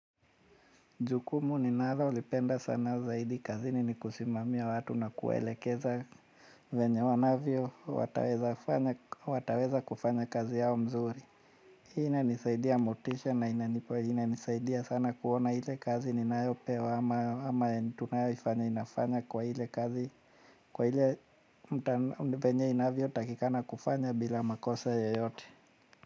Jukumu ninalolipenda sana zaidi kazini ni kusimamia watu na kuwaelekeza venye wanavyo wataweza kufanya kazi yao mzuri. Hii inanisaidia motisha na inanipua inanisaidia sana kuona ile kazi ninayopewa ama tunayoifanya inafanya kwa ile kazi. Kwa ile venye inavyotakikana kufanya bila makosa yoyote.